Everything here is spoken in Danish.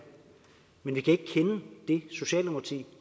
men vi kan ikke kende det socialdemokrati